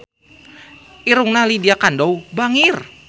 Irungna Lydia Kandou bangir